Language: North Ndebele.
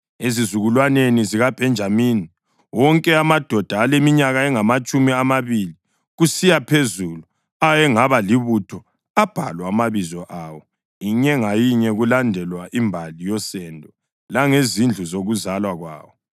Ezizukulwaneni zikaBhenjamini: Wonke amadoda aleminyaka engamatshumi amabili kusiya phezulu ayengaba libutho abhalwa amabizo awo, inye ngayinye, kulandelwa imbali yosendo langezindlu zokuzalwa kwawo.